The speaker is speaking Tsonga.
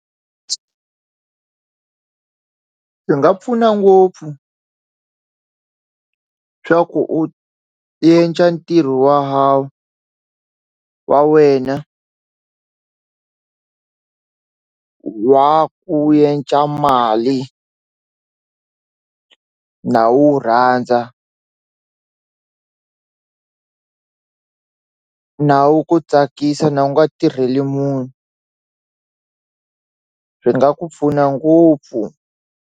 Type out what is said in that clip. Swi nga pfuna ngopfu swa ku u ntirho wa ha wa wena wa ku mali na wu rhandza na wu ku tsakisa na wu nga tirheli munhu swi nga ku pfuna ngopfu.